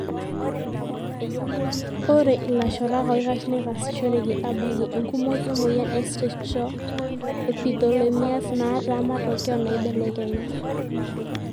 Ore ilashorak oikash netasishoreki abakie enkumoi emoyia e Strichoepitheliomas, naata matokeo naibelekenya.